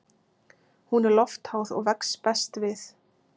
Hún er loftháð og vex best við